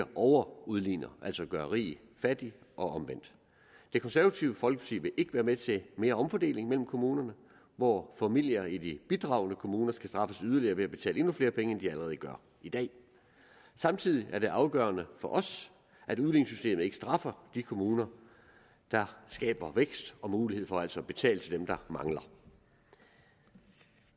overudligner altså gør rig fattig og omvendt det konservative folkeparti vil ikke være med til mere omfordeling mellem kommunerne hvor familier i de bidragende kommuner skal straffes yderligere ved at betale endnu flere penge end de allerede gør i dag samtidig er det afgørende for os at udligningssystemet ikke straffer de kommuner der skaber vækst og mulighed for altså at betale til dem der mangler